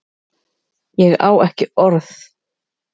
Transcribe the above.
Ég á ekki orð.